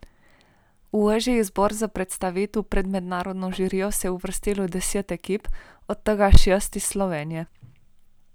V ožji izbor za predstavitev pred mednarodno žirijo se je uvrstilo deset ekip, od tega šest iz Slovenije.